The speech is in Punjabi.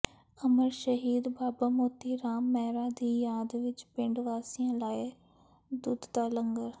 ਅਮਰ ਸ਼ਹੀਦ ਬਾਬਾ ਮੋਤੀ ਰਾਮ ਮਹਿਰਾ ਦੀ ਯਾਦ ਵਿੱਚ ਪਿੰਡ ਵਾਸੀਆਂ ਲਾਇਆ ਦੁੱਧ ਦਾ ਲੰਗਰ